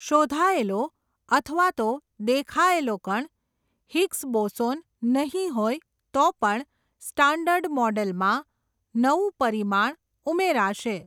શોધાયેલો અથવા તો, દેખાએલો કણ, હિગ્સ બોસોન, નહીં હોય, તો પણ, સ્ટાન્ડર્ડ મોડલમાં, નઊં પરિમાણ, ઉમેરાશે.